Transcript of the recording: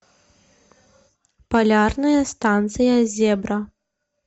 полярная станция зебра